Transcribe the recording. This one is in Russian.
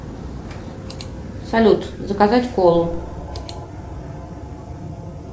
салют заказать колу